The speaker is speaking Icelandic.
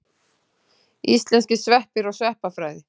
Íslenskir sveppir og sveppafræði.